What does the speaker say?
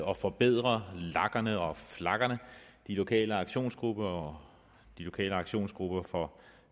og forbedre lagerne og flagerne de lokale aktionsgrupper og de lokale aktionsgrupper for